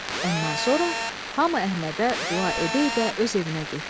Ondan sonra hamı Əhmədə dua edə-edə öz evinə getdi.